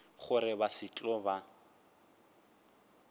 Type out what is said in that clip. gore ba se tlo ba